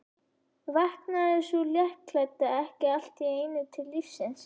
Vaknaði sú léttklædda ekki allt í einu til lífsins!